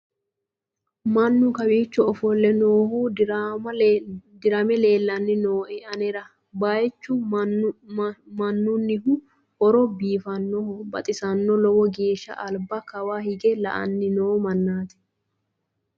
mannu kawiicho ofolle noohu dirame leellanni nooe anera baychu minunnihu horo biifannoho baxisanno lowo geeshsha alba kawa hige la'anni noo mannati